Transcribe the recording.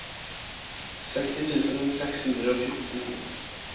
seksti tusen seks hundre og fjorten